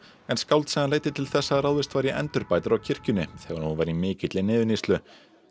en skáldsagan leiddi til þess að ráðist var í endurbætur á kirkjunni þegar hún var í mikilli niðurníðslu